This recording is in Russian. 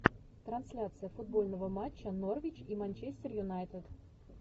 трансляция футбольного матча норвич и манчестер юнайтед